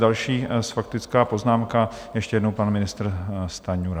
Další faktická poznámka, ještě jednou pan ministr Stanjura.